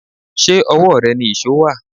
Ṣé owó rẹ ni íṣo wá?